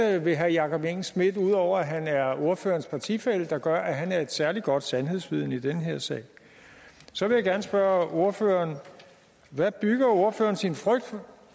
er det ved herre jakob engel schmidt ud over at han er ordførerens partifælle der gør at han er et særlig godt sandhedsvidne i den her sag så vil jeg gerne spørge ordføreren hvad bygger ordførerens sin frygt